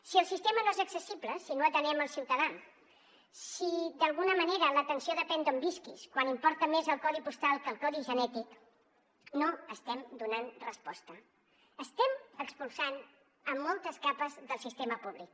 si el sistema no és accessible si no atenem el ciutadà si d’alguna manera l’atenció depèn d’on visquis que importa més el codi postal que el codi genètic no estem donant resposta estem expulsant moltes capes del sistema públic